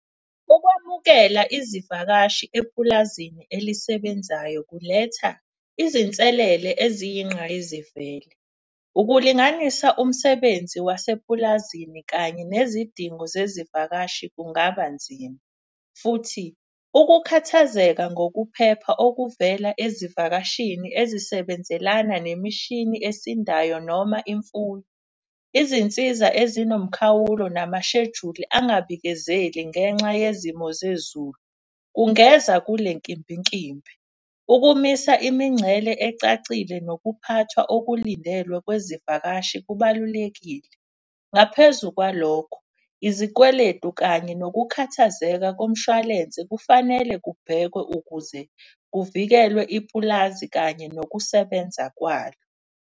Ukwamukela izivakashi epulazini elisebenzayo kuletha izinselele eziyinqayizivele. Ukulinganisa umsebenzi wasepulazini kanye nezidingo zezivakashi kungaba nzima. Futhi ukukhathazeka ngokuphepha okuvela ezivakashini ezisebenzelana nemishini esindayo noma imfuyo. Izinsiza ezinomkhawulo, namashejuli angabikezeli ngenxa yezimo zezulu, kungeza kule nkimbinkimbi. Ukumisa imincele ecacile nokuphathwa okulindelwe kwezivakashi kubalulekile. Ngaphezu kwalokho izikweletu kanye nokukhathazeka komshwalense kufanele kubhekwe ukuze kuvikelwe ipulazi kanye nokusebenza kwalo.